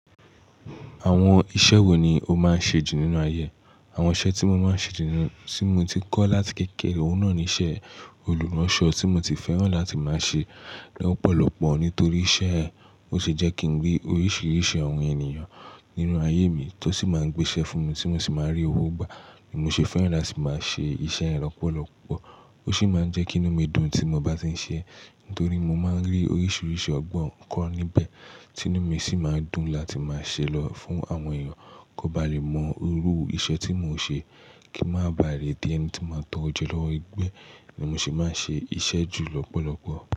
Àwọn iṣẹ́ wo ni o máa ń ṣe jù nínú ayé? Àwọn iṣẹ́ tí mo máa ń ṣe jù nínú tí mo ti kọ́ láti kékeré, òun náà ni iṣẹ́ olùránṣọ tí mo ti fẹ́ràn láti máa ṣe lọ́pọ̀lọpọ̀ nítorí iṣẹ́ ẹ, ó sì jẹ́ kí n rí oríṣiríṣi àwọn ènìyàn nínú ayé mi tó sì máa ń gbé iṣẹ́ fún mi tí mo sì máa ń rí owó gbà. Èmi ò ṣe fẹ́ràn láti máa ṣe iṣẹ́ ẹ lọ́pọ̀lọpọ̀. Ó sì máa ń jẹ́ kí inú mi dùn tí mo bá ti ń ṣe ẹ nítorí mo máa ń rí oríṣiríṣi ọgbọ́n kọ́ níbẹ̀, tinú mi sì máa ń dùn láti máa ṣe lọ fún àwọn èèyàn kí wọ́n ba lè mọ iru iṣẹ́ tí mò ń ṣe kí n máa ba lẹ̀ dí ẹni tí máa ń tọ́ro je lọ́wọ́ ẹgbẹ́ ni mo se máa ń ṣe iṣẹ́ jù lọ́pọ̀lọpọ̀.